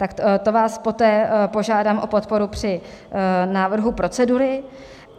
Tak to vás poté požádám o podporu při návrhu procedury.